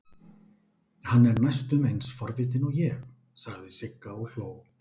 Hann er næstum eins forvitinn og ég, sagði Sigga og hló.